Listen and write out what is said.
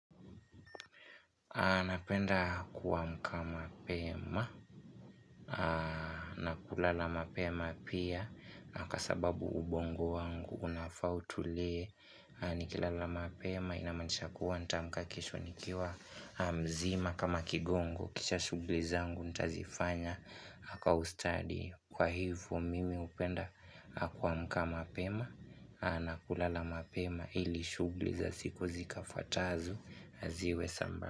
Napenda kuamka mapema na kulala mapema pia na kwa sababu ubongo wangu unafaa utulie nikilala mapema inamaanisha kuwa nitaamka kesho nikiwa mzima kama kigongo kisha shughuli zangu nitazifanya kwa ustadi kwa hivyo mimi hupenda kuamka mapema na kulala mapema ili shughuli za siku zikafwatazo ziwe sambamba.